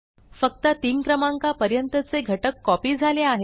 फक्त 3 क्रमांकापर्यंतचे घटक कॉपी झाले आहेत